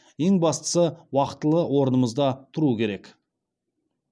ең бастысы уақтылы орнымызда тұру керек